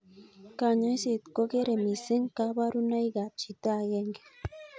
Kanyoiset kokere missing koborunoikab chito aenge